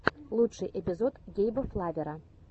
лучший эпизод гейба флавера